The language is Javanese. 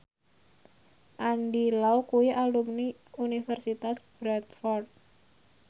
Andy Lau kuwi alumni Universitas Bradford